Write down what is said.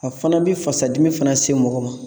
A fana bi fasadimi fana se mɔgɔ ma